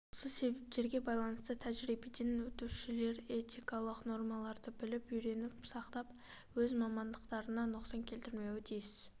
осы себептерге байланысты тәжірибеден өтушілер этикалық нормаларды біліп үйреніп сақтап өз мамандықтарына нұқсан келтірмеуі тиіс